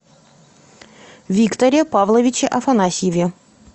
викторе павловиче афанасьеве